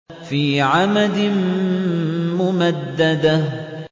فِي عَمَدٍ مُّمَدَّدَةٍ